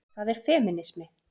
Hvað er femínismi?